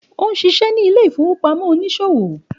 Ó ń ṣiṣẹ́ ní Ilé-ìfowópamọ́ oníṣòwò.